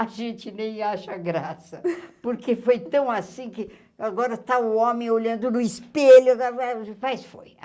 A gente nem acha graça, porque foi tão assim que agora está o homem olhando no espelho, agora faz foi.